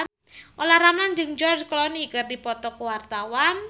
Olla Ramlan jeung George Clooney keur dipoto ku wartawan